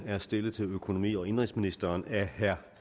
er stillet til økonomi og indenrigsministeren af herre